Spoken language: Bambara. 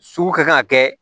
Sugu ka kan ka kɛ